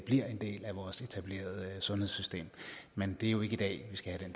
en del af vores etablerede sundhedssystem men det er jo ikke i dag vi skal